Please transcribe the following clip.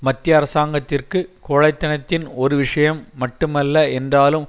மத்திய அரசாங்கத்திற்கு கோழைத்தனத்தின் ஒரு விஷயம் மட்டுமல்ல என்றாலும்